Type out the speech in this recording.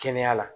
Kɛnɛya la